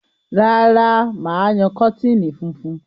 Rárá, mà á yan kọ́tìnì funfun.